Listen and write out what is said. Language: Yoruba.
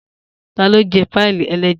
Ta ló Jẹ́ páì-ẹlẹ́ja?